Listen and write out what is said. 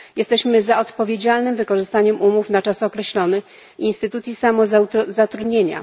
Jesteśmy za odpowiedzialnym wykorzystaniem umów na czas określony, instytucji samozatrudnienia.